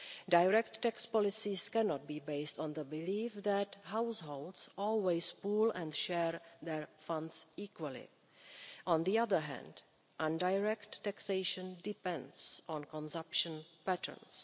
Direct tax policies cannot be based on the belief that households always pool and share their funds equally. On the other hand, indirect taxation depends on consumption patterns.